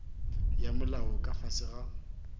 ya molao ka fase ga